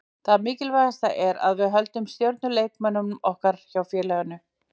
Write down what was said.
Það mikilvægasta er að við höldum stjörnuleikmönnum okkar hjá félaginu.